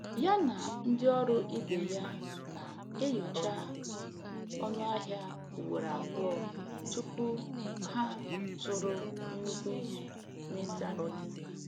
Ya na ndị ọrụ ibe ya na-enyocha ọnụ ahịa ugboro abụọ tupu ha zụrụ nnukwu ihe n'ịntanetị.